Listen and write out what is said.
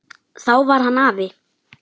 Þá var hann afi.